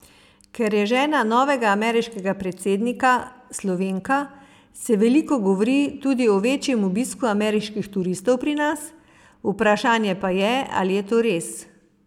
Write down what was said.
Ker je žena novega ameriškega predsednika, Slovenka, se veliko govori tudi o večjem obisku ameriških turistov pri nas, vprašanje pa je, ali je to res.